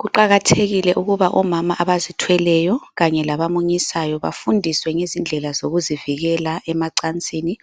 Kuqakathekile ukuba omama abazithweleyo kanye labamunyisayo bafundiswe ngezindlela zokuzivikela emacansini